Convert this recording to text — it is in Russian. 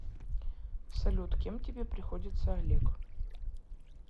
салют кем тебе приходится олег